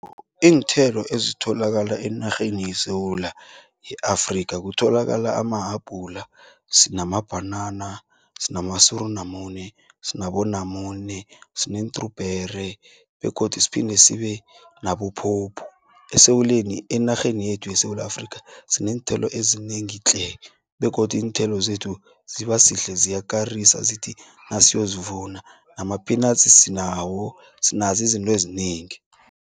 Iinthelo ezitholakala enarheni yeSewula yeAfrika kutholakala amahabhula, sinamabhanana, sinamasurunamune, sinabonamune, sine-trawberry, begodu siphinde sibe nabophopho. Enarheni yekhethu yeSewula Afrika sineenthelo ezinengi tle, begodu iinthelo zethu zibasihle ziyakarisa, zithi nasiyo zivuna, namaphinatsi sinawo, sinazo izinto ezinengi.